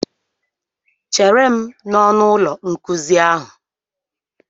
Chere m n'ọnụ ụlọ nkuzi ahụ!